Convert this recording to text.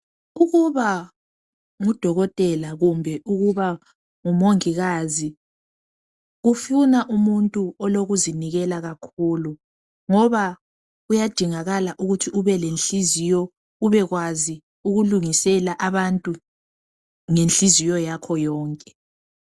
Ukuba ngudokotela kumbe ukuba ngumongikazi kufuna umuntu olokuzinikela kakhulu ngoba kuyadingakala ukuthi ubelenhliziyo ubekwanzi ukulungisela abantu ngenhliziyo yakho yonke.